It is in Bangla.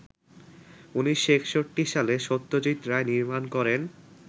১৯৬১ সালে সত্যজিৎ রায় নির্মাণ করেন